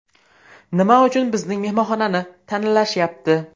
Nima uchun bizning mehmonxonani tanlashyapti?